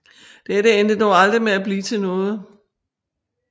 Dette endte dog aldrig med at blive til noget